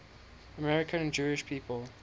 american jewish people